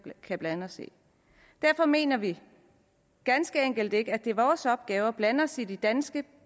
kan blande os i derfor mener vi ganske enkelt ikke at det er vores opgave at blande os i de danske